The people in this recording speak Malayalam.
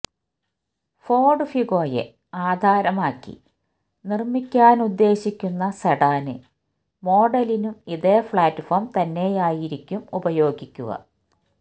ഫോഡ് ഫിഗോയെ ആധാരമാക്കി നിര്മിക്കാനുദ്ദേശിക്കുന്ന സെഡാന് മോഡലിനും ഇതേ പ്ലാറ്റ്ഫോം തന്നെയായിരിക്കും ഉപയോഗിക്കുക